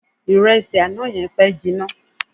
Ìrẹsì àná yẹn pẹ́ jinna.